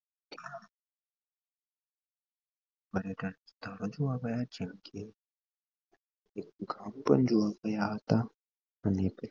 અને ત્યાં અવાજો આવ્યા જેમકે